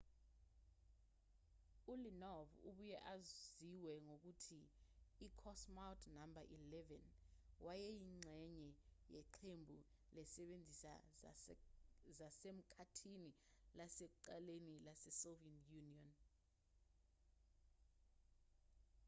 uleonov obuye aziwe ngokuthi i-cosmonaut no 11 wayeyingxenye yeqembu lezisebenzi zasemkhathini lasekuqaleni lasesoviet union